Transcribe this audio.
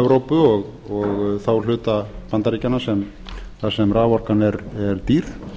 evrópu og þá hluta bandaríkjanna þar sem raforkan er dýr